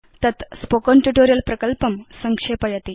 तत् spoken tutorial प्रकल्पं सक्षेपयति